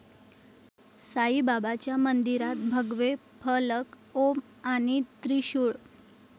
साईबाबांच्या मंदिरात भगवे फलक ओम आणि त्रिशूळ